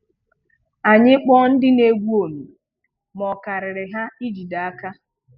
Anyị kpọ̀ọ ndị na-egwù ọmì, mà ọ̀ karịrị́ ha ị̀jìde aka.